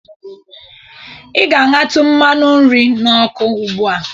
Ị ga-aṅatụ mmanụ nri a n'ọkụ ugbu a.